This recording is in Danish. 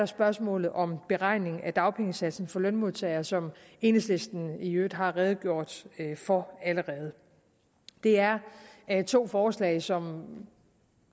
spørgsmålet om beregning af dagpengesatsen for lønmodtagere som enhedslisten i øvrigt allerede har redegjort for det er to forslag som